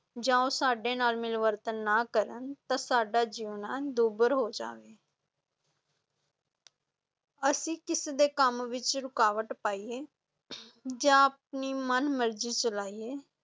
ਜਾਂ ਉਹ ਸਾਡੇ ਨਾਲ ਮਿਲਵਰਤਨ ਨਾ ਕਰਨ ਤਾਂ ਸਾਡਾ ਜੀਉਣਾ ਦੁੱਭਰ ਹੋ ਜਾਵੇ ਅਸੀਂ ਕਿਸੇ ਦੇ ਕੰਮ ਵਿੱਚ ਰੁਕਾਵਟ ਪਾਈਏ ਜਾਂ ਆਪਣੀ ਮਨ ਮਰਜ਼ੀ ਚਲਾਈਏ